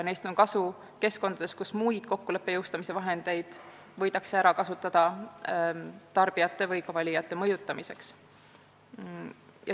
Neist on kasu keskkondades, kus muid kokkuleppe jõustamise vahendeid võidakse ära kasutada tarbijate või valijate mõjutamiseks.